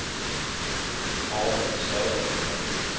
Arne Södergren